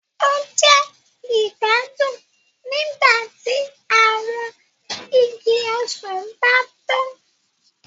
O jẹ igbadun nígbàtí awọn ìgi ọsan ba ntàn.